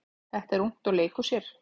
Þetta er ungt og leikur sér.